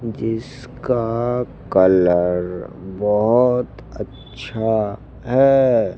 जिसका कलर बहोत अच्छा है।